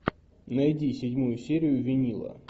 найди седьмую серию винила